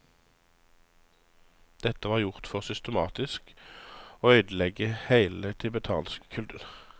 Dette var gjort for systematisk å øydeleggje heile den tibetanske kulturen.